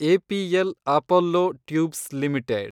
APL Apollo Tubes limited